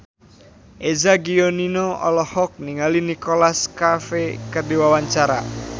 Eza Gionino olohok ningali Nicholas Cafe keur diwawancara